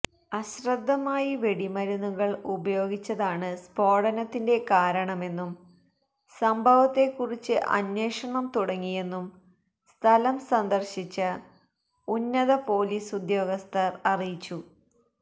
അശ്രദ്ധമായി വെടിമരുന്നുകൾ ഉപയോഗിച്ചതാണ് സ്ഫോടനത്തിന്റെ കാരണമെന്നും സംഭവത്തെക്കുറിച്ച് അന്വേഷണം തുടങ്ങിയെന്നും സ്ഥലം സന്ദർശിച്ച ഉന്നത പൊലീസ് ഉദ്യോഗസ്ഥർ അറിയിച്ചു